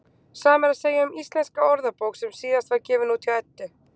Sama er að segja um Íslenska orðabók sem síðast var gefin út hjá Eddu.